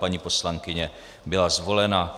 Paní poslankyně byla zvolena.